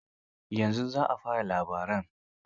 Yanzu za a fara yin labaran.